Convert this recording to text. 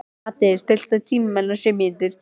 Haddi, stilltu tímamælinn á sjö mínútur.